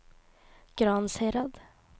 Gransherad